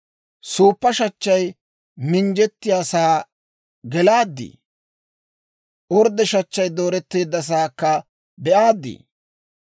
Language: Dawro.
«Suuppa shachchay minjjettiyaasaa gelaaddii? Orddo shachchay dooretteeddasaakka be'aaddi?